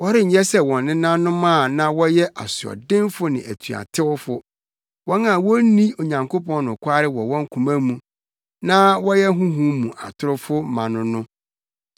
Wɔrenyɛ sɛ wɔn nenanom, a na wɔyɛ asoɔdenfo ne atuatewfo, wɔn a wonni Onyankopɔn nokware wɔ wɔn koma mu na woyɛ honhom mu atorofo ma no no.